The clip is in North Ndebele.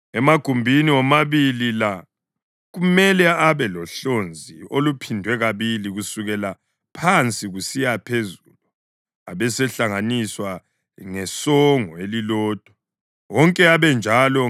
Emagumbini womabili la kumele abe lohlonzi oluphindwe kabili kusukela phansi kusiya phezulu, abesehlanganiswa ngesongo elilodwa, wonke abe njalo.